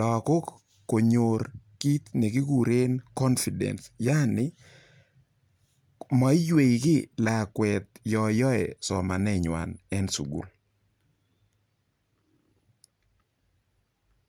lakok konyor kiit nekikuren confidence yani maiywei lakwet yo yoe somaneng'wany en sukul.